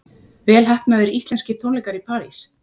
Vel heppnaðir íslenskir tónleikar í París